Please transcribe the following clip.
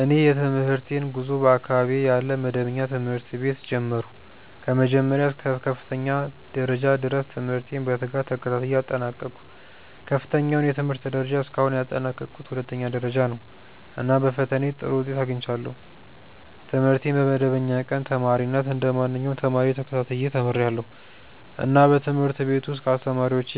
እኔ የትምህርቴን ጉዞ በአካባቢዬ ያለ መደበኛ ትምህርት ቤት ጀመርሁ። ከመጀመሪያ እስከ ከፍተኛ ደረጃ ድረስ ትምህርቴን በትጋት ተከታትዬ አጠናቀቅሁ። ከፍተኛው የትምህርት ደረጃ እስካሁን ያጠናቀቅሁት ሁለተኛ ደረጃ ነው፣ እና በፈተናዬ ጥሩ ውጤት አግኝቻለሁ። ትምህርቴን በመደበኛ ቀን ተማሪነት እንደ ማንኛውም ተማሪ ተከታትዬ ተምርያለሁ፣ እና በትምህርት ቤት ውስጥ ከአስተማሪዎቼ